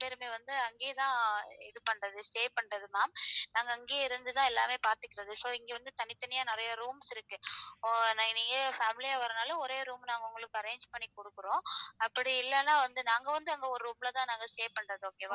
Stay பண்றது ma'am நாங்க அங்கயே இருந்து தான் எல்லாமே பார்த்துகிறது so இங்க வந்து தனித்தனியா நறைய rooms இருக்கு. நீங்க family யா வரதுனால ஒரே room arrange பண்ணி குடுக்குறோம். அப்படி இல்லேன்னா நாங்க வந்து அங்க ஒரு room ல தான் stay பண்றோம் okay வா.